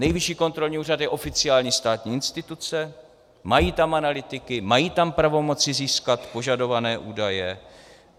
Nejvyšší kontrolní úřad je oficiální státní instituce, mají tam analytiky, mají tam pravomoci získat požadované údaje.